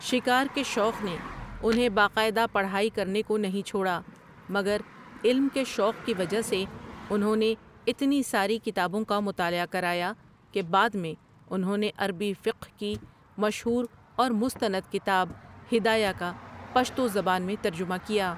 شکار کے شوق نے انہیں باقاعدہ پڑھائی کرنے کو نہیں چھوڑا مگر علم کے شوق کی وجہ سے انہوں نے اتنی ساری کتابوں کا مطالعہ کرایا کہ بعد میں انہوں نے عربی فقہ کی مشہور اور مثتند کتاب ھدایہ کا پشتو زبان میں ترجمہ کیا ۔